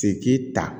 Se k'i ta